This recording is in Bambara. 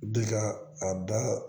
Bi ka a da